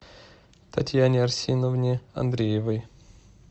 татьяне арсеновне андреевой